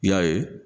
I y'a ye